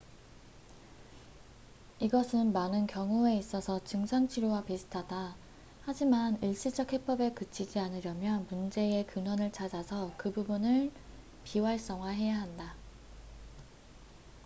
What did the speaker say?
이것은 많은 경우에 있어서 증상 치료와 비슷하다 하지만 일시적 해법에 그치지 않으려면 문제의 근원을 찾아서 그 부분을 비활성화해야 한다